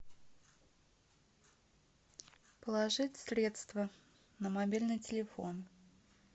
положить средства на мобильный телефон